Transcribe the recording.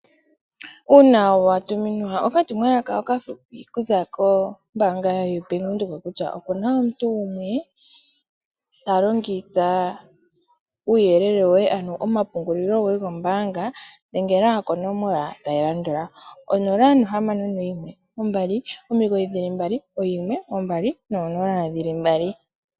Uuna wa tuminwa okatumwalaka okafupi okuza kombaanga yoBank Windhoek kutya opu na omuntu gumwe ta longitha uuyelele woye ano omapungulilo goye gombaanga dhengela dkonomola tayi landula: 061 2991200.